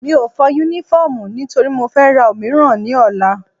Mi ò fọ Únífọ́ọ̀mù nítorí mo fẹ́ ra òmíràn ní ọ̀la